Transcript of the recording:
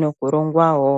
noku longwa wo.